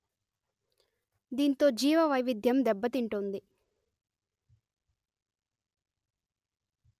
దీంతో జీవవైవిధ్యం దెబ్బతింటోంది